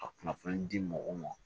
Ka kunnafoni di mɔgɔw ma